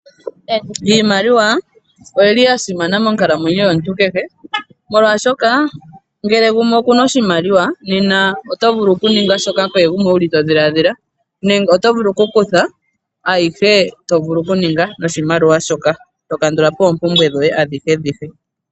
Iimaliwa oyili yasimana monkalamwenyo yomuntu kehe, molwaashoka ngele gumwe okuna oshimaliwa nena oto vulu okuninga kehe shoka wuli todhiladhila nenge oto vulu okuninga aihe tovulu okuninga noshimaliwa , eto kandulapo oompumbwe dhoye ndhoka.